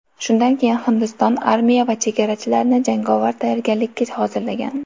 Shundan keyin Hindiston armiya va chegarachilarni jangovar tayyorgarlikka hozirlagan.